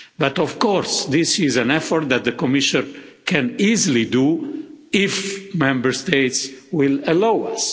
But of course this is an effort that the Commission can easily make, if Member States allow us.